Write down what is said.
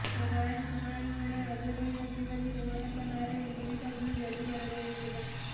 ରାୟ ଶୁଣାଣି ବେଳେ ହାଜର ହୋଇନଥିବାରୁ ସେମାନଙ୍କ ନାଁରେ ଏନ୍ବିଡବ୍ଲୁ ଜାରି କରାଯାଇଥିଲା